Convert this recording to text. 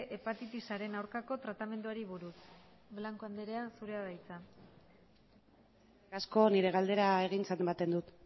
hepatitisaren aurkako tratamenduari buruz blanco anderea zurea da hitza eskerrik asko nire galdera egintzat ematen dut